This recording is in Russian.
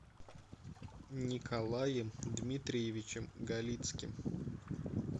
николаем дмитриевичем галицким